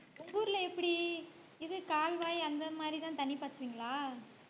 உங்க ஊர்ல எப்படி இது கால்வாய் அந்த மாரிதான் தண்ணி பாய்ச்சுவீங்களா